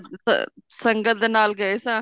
ਅਹ ਸੰਗਤ ਦੇ ਨਾਲ ਗਏ ਸਾਂ